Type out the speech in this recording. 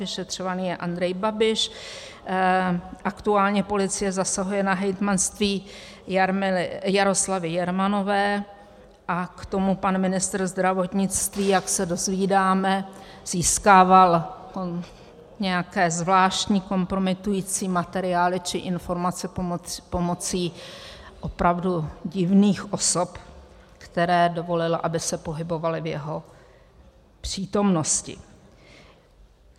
Vyšetřovaný je Andrej Babiš, aktuálně policie zasahuje na hejtmanství Jaroslavy Jermanové a k tomu pan ministr zdravotnictví, jak se dozvídáme, získával nějaké zvláštní kompromitující materiály či informace pomocí opravdu divných osob, kterým dovolil, aby se pohybovaly v jeho přítomnosti.